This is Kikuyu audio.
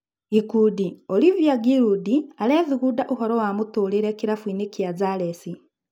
(Gĩkundi) Oliva Ngirundi arethugunda ũhoro wa mũtũrĩre kĩrabuinĩ kĩa zalesi.